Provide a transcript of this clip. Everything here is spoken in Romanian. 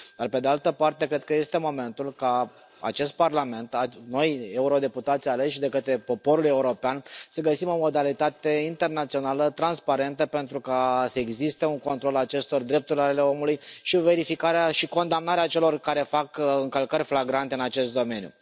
Dar pe de altă parte cred că este momentul ca acest Parlament, noi, euro deputații aleși de către poporul european, să găsim o modalitate internațională, transparentă pentru ca să existe un control al acestor drepturi ale omului și o verificare și condamnare a celor care fac încălcări flagrante în acest domeniu.